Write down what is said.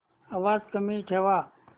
आवाज कमी ठेवा